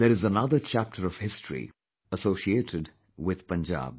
There is another chapter of history associated with Punjab